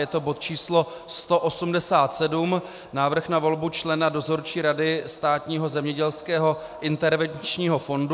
Je to bod číslo 187 - Návrh na volbu člena Dozorčí rady Státního zemědělského intervenčního fondu.